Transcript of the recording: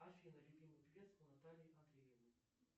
афина любимый певец у натальи андреевой